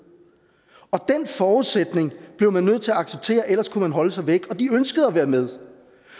og den forudsætning blev man nødt til at acceptere ellers kunne man holde sig væk og de ønskede at være med